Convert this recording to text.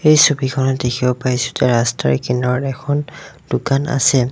এই ছবিখনত দেখিব পাইছোঁ যে ৰাস্তাৰে কিনাৰত এখন দোকান আছে।